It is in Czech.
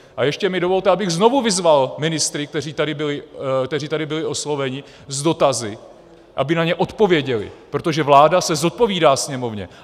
A ještě mi dovolte, abych znovu vyzval ministry, kteří tady byli osloveni s dotazy, aby na ně odpověděli, protože vláda se zodpovídá Sněmovně.